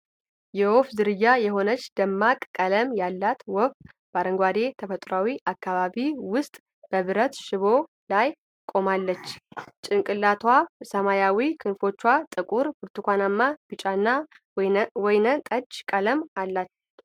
የወፍ ዝርያ የሆነች ደማቅ ቀለም ያላት ወፍ፣ በአረንጓዴ ተፈጥሮአዊ አካባቢ ውስጥ በብረት ሽቦ ላይ ቆማለች። ጭንቅላቷ ሰማያዊ፣ ክንፎቿ ጥቁር፣ ብርቱካናማ፣ ቢጫና ወይን ጠጅ ቀለም አላቸው።